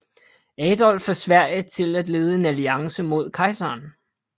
Adolf af Sverige til at lede en alliance mod kejseren